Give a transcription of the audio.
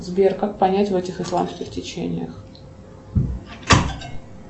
сбер как понять в этих исламских течениях